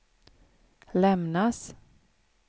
lämnas